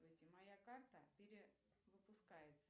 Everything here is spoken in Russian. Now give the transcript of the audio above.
моя карта перевыпускается